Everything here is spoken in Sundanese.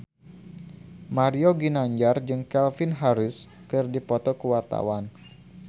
Mario Ginanjar jeung Calvin Harris keur dipoto ku wartawan